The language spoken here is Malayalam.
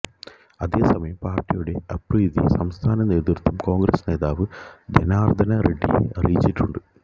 അതേസമയം പാര്ട്ടിയുടെ അതൃപ്തി സംസ്ഥാന നേതൃത്വം കോണ്ഗ്രസ് നേതാവ് ജനാര്ദ്ദന റെഡ്ഡിയെ അറിയിച്ചിട്ടുണ്ട്